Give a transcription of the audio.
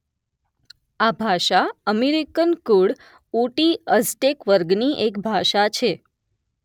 આ ભાષા અમેરીકન કુળ ઉટી અઝટેક વર્ગ ની એક ભાષા છે